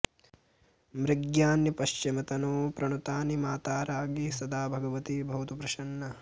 मृग्यान्यऽपश्चिमतनोः प्रणुतानि माता राज्ञी सदा भगवती भवतु प्रसन्ना